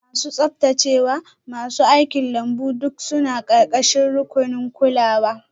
Masu tsaftacewa, masu aikin lambu duk suna ƙarƙashin rukunin kulawa.